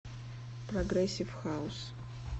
прогрессив хаус